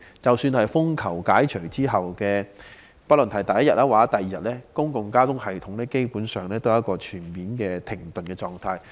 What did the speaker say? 即使在風球信號解除後的第一二天，公共交通系統基本上仍處於全面停頓的狀態。